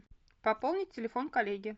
пополнить телефон коллеги